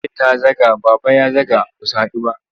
Iya ta zaga, Baba ya zaga ba su haɗu ba?